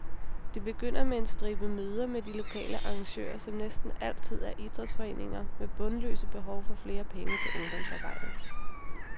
Det begynder med en stribe møder med de lokale arrangører, som næsten altid er idrætsforeninger med bundløse behov for flere penge til ungdomsarbejdet.